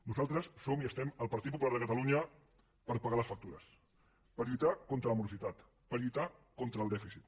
nosaltres som i estem el partit popular de catalunya per pagar les factures per lluitar contra la morositat per lluitar contra el dèficit